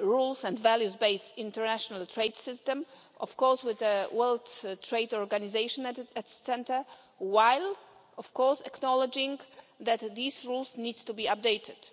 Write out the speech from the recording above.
rule and value based international trade system of course, with the World Trade Organization at its centre while acknowledging that these rules need to be updated.